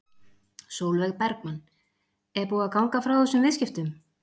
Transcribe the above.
Sólveig Bergmann: Er búið að ganga frá þessum viðskiptum?